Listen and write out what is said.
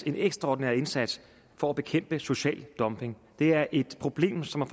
en ekstraordinær indsats for at bekæmpe social dumping det er et problem som har